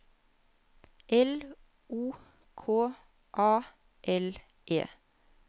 L O K A L E